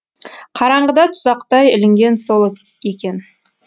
қараңғыда тұзақтай ілінген сол екен